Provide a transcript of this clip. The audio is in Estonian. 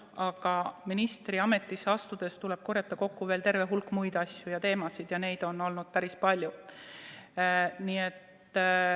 Aga ministriametisse astudes tuleb korjata teavet ka terve hulga muude asjade ja teemade kohta ning neid on olnud päris palju.